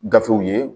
Gafew ye